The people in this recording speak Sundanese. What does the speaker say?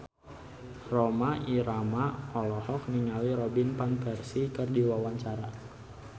Rhoma Irama olohok ningali Robin Van Persie keur diwawancara